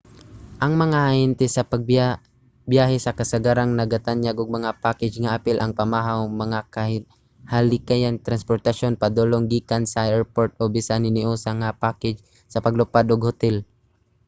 ang mga ahente sa pagbiyahe kasagarang nagatanyag og mga package nga apil ang pamahaw mga kahikayan sa transportasyon padulong/gikan sa erport o bisan hiniusa nga mga package sa paglupad ug hotel